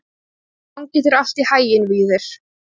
Gangi þér allt í haginn, Víðir.